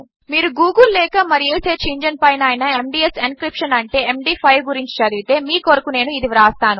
మీరు గూగిల్ లేకమరేసెర్చ్ఇంజన్పైనఅయినా MDS encryption అంటే M డ్5 గురించిచదివితే మీకొరకునేనుఇదివ్రాస్తాను